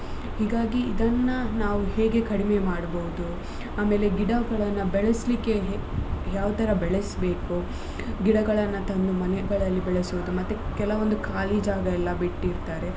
ಹೀಗಾಗಿ ಇದನ್ನ ನಾವು ಹೇಗೆ ಕಡಿಮೆ ಮಾಡ್ಬೋದು ಆಮೇಲೆ ಗಿಡಗಳನ್ನ ಬೆಳೆಸ್ಲಿಕ್ಕೆ ಯಾವ್ತರ ಬೆಳೆಸ್ಬೇಕು ಗಿಡಗಳನ್ನ ತಂದು ಮನೆಗಳಲ್ಲಿ ಬೆಳೆಸುದು ಮತ್ತೆ ಕೆಲವೊಂದು ಖಾಲಿ ಜಾಗ ಎಲ್ಲ ಬಿಟ್ಟಿರ್ತಾರೆ.